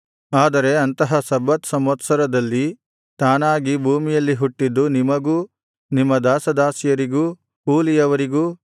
ಆದರೆ ಅಂತಹ ಸಬ್ಬತ್ ಸಂವತ್ಸರದಲ್ಲಿ ತಾನಾಗಿ ಭೂಮಿಯಲ್ಲಿ ಹುಟ್ಟಿದ್ದು ನಿಮಗೂ ನಿಮ್ಮ ದಾಸದಾಸಿಯರಿಗೂ ಕೂಲಿಯವರಿಗೂ